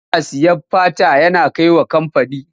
Yana sayen fata yana kai wa kamfani.